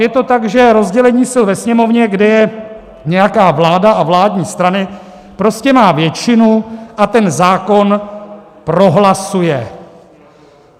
Je to tak, že rozdělení sil ve Sněmovně, kde je nějaká vláda a vládní strany, prostě má většinu a ten zákon prohlasuje.